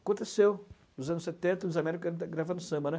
Aconteceu nos anos setenta, Luiz Américo gravando samba, né.